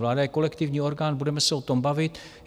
Vláda je kolektivní orgán, budeme se o tom bavit.